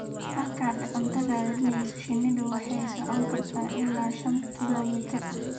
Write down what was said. Markaad cunto raadinayso, shinnidu waxay socon kartaa ilaa shan kiiloomitir